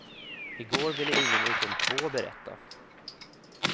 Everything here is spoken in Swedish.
I går ville ingen utom två berätta.